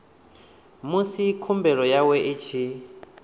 musi khumbelo yawe i tshi